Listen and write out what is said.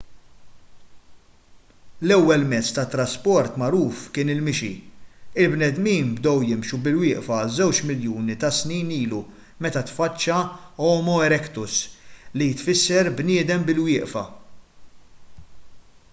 l-ewwel mezz tat-trasport magħruf kien il-mixi il-bnedmin bdew jimxu bil-wieqfa żewġ miljuni ta’ snin ilu meta tfaċċa homo erectus li tfisser bniedem bil-wieqfa